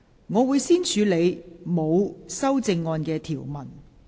我會先處理沒有修正案的條文。